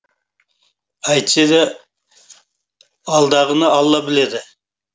әйтсе де алдағыны алла біледі